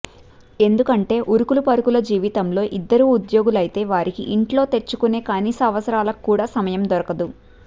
ఎందుకంటే ఉరుకుల పరుగుల జీవితంలో ఇద్దరు ఉద్యోగస్తులైతే వారికి ఇంట్లో తెచ్చుకునే కనీస అవసరాలకు కూడా సమయం దొరకదు